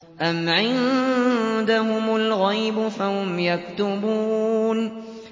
أَمْ عِندَهُمُ الْغَيْبُ فَهُمْ يَكْتُبُونَ